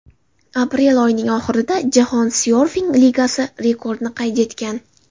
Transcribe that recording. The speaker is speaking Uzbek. Aprel oyining oxirida Jahon syorfing ligasi rekordni qayd etgan.